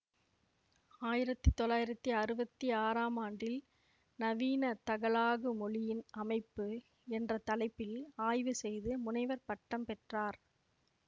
ஆயிரத்தி தொள்ளாயிரத்தி அறுவத்தி ஆறாம் ஆண்டில் நவீன தகலாகு மொழியின் அமைப்பு என்ற தலைப்பில் ஆய்வு செய்து முனைவர் பட்டம் பெற்றார்